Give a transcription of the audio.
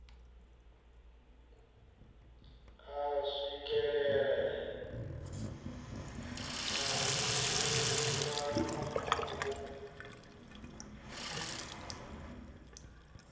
a swikelele matshilisano na u